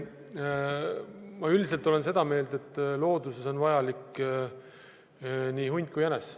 Ma üldiselt olen seda meelt, et looduses on vajalik nii hunt kui ka jänes.